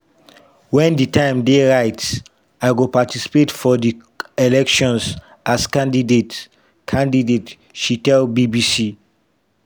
wen di time dey right “i go participate for di elections… as a candidate” candidate” she tell bbc.